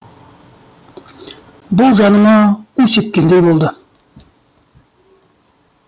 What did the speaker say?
бұл жаныма у сепкендей болды